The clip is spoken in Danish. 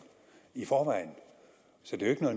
i forvejen så det er